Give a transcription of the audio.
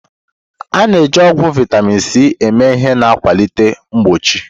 A na-eji ọgwụ vitamin C eme ihe na-akwalite mgbochi.